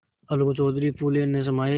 अलगू चौधरी फूले न समाये